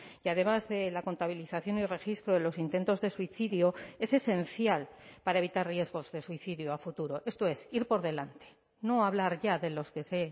y además de la contabilización y registro de los intentos de suicidio es esencial para evitar riesgos de suicidio a futuro esto es ir por delante no hablar ya de los que se